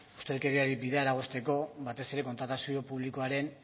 ustelkeriari bidea eragozteko batez ere kontratazio publikoaren